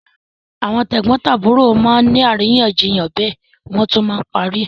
Àwọn tẹ̀gbọ́ntàbúrò má ni àríyànjiyàn bẹ́ẹ̀ wọ́n á tún parí ẹ̀.